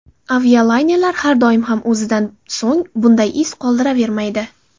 Avialaynerlar har doim ham o‘zidan so‘ng bunday iz qoldiravermaydi.